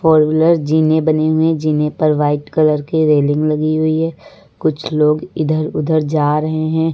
जीने बने हुए हैं जीने पर वाइट कलर की रेलिंग लगी हुई है कुछ लोग इधर उधर जा रहे हैं।